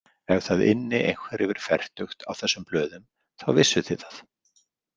Ef það ynni einhver yfir fertugt á þessum blöðum, þá vissuð þið það.